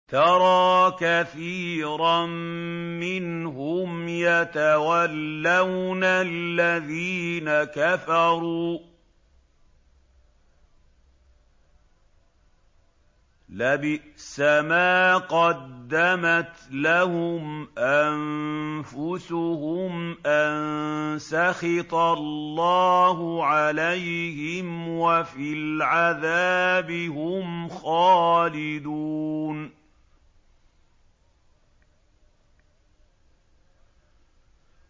تَرَىٰ كَثِيرًا مِّنْهُمْ يَتَوَلَّوْنَ الَّذِينَ كَفَرُوا ۚ لَبِئْسَ مَا قَدَّمَتْ لَهُمْ أَنفُسُهُمْ أَن سَخِطَ اللَّهُ عَلَيْهِمْ وَفِي الْعَذَابِ هُمْ خَالِدُونَ